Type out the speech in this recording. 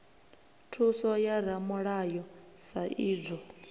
thuso ya ramulayo sa idzwo